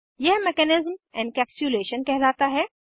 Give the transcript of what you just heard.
यह mechanism encapsulation कहलाता है